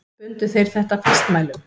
Bundu þeir þetta fastmælum.